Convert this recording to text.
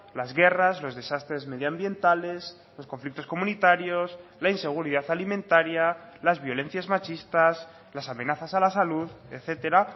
las guerras los desastres medioambientales los conflictos comunitarios la inseguridad alimentaria las violencias machistas las amenazas a la salud etcétera